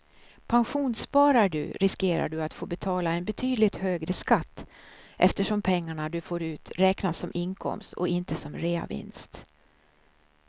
Pensionssparar du riskerar du att få betala en betydligt högre skatt eftersom pengarna du får ut räknas som inkomst och inte som reavinst.